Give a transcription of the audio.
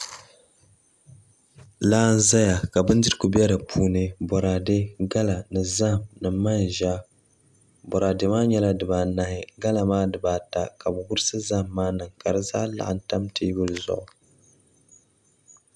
Laa n ʒɛya ka bindirigu bɛ di puuni boraadɛ gala ni zaham ni manʒa boraadɛ maa nyɛla dibaanahi gala maa dibaata ka bi wurisi zaham maa niŋ ka di zaa laɣam tam teebuli zuɣu